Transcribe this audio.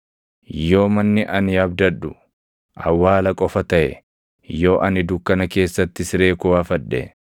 Yoo manni ani abdadhu awwaala qofa taʼe, yoo ani dukkana keessatti siree koo afadhe,